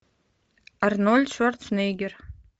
арнольд шварценеггер